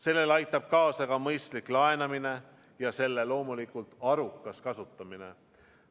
Sellele aitab kaasa ka mõistlik laenamine ja selle raha loomulikult arukas kasutamine.